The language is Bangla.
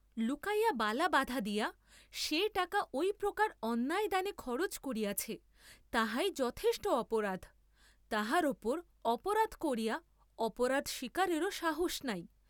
লুকাইয়া বালা বাধা দিয়া সে টাকা ঐ প্রকার অন্যায় দানে খরচ করিয়াছে, তাহাই যথেষ্ট অপরাধ, তাহার উপর অপরাধ করিয়া অপরাধ স্বীকারেও সাহস নাই।